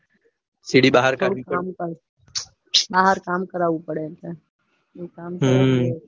સિડી બહાર કાઢવી પડે બહાર કામ કરવું પડે એમ છે. હમ